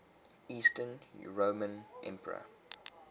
eastern roman emperor